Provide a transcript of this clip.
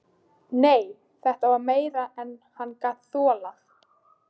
Nei, þetta var meira en hann gat þolað.